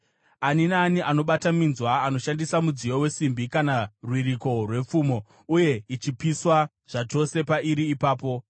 Ani naani anobata minzwa anoshandisa mudziyo wesimbi kana rwiriko rwepfumo; uye ichapiswa zvachose pairi ipapo.”